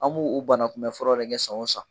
An b'u u banakunbɛ furaw de kɛ san o san.